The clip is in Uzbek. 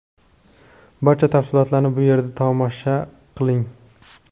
Barcha tafsilotlarni bu yerda tomosha q iling :.